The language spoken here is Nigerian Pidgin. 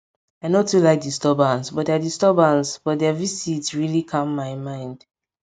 i no too like disturbance but their disturbance but their visit really calm my mind